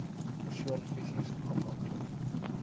persoon fisies afhanklik